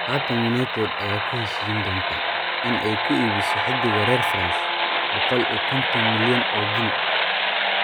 Haatan United ayaa ku heshiin doonta in ay ku iibiso xiddiga reer France 150 milyan oo gini.